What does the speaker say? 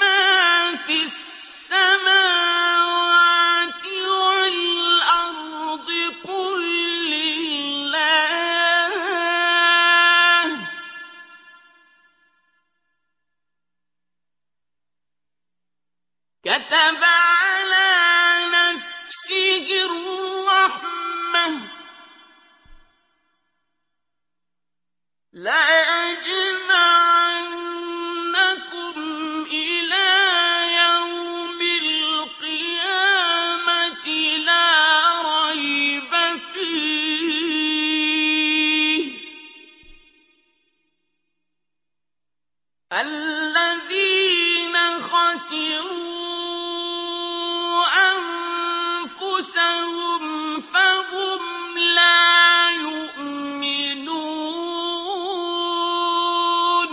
مَّا فِي السَّمَاوَاتِ وَالْأَرْضِ ۖ قُل لِّلَّهِ ۚ كَتَبَ عَلَىٰ نَفْسِهِ الرَّحْمَةَ ۚ لَيَجْمَعَنَّكُمْ إِلَىٰ يَوْمِ الْقِيَامَةِ لَا رَيْبَ فِيهِ ۚ الَّذِينَ خَسِرُوا أَنفُسَهُمْ فَهُمْ لَا يُؤْمِنُونَ